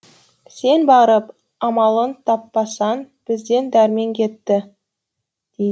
сен барып амалын таппасаң бізден дәрмен кетті дейді